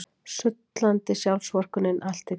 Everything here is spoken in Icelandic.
Sullandi sjálfsvorkunnin allt í kring.